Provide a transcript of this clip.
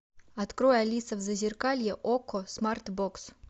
открой алиса в зазеркалье окко смарт бокс